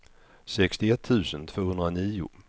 sextioett tusen tvåhundranio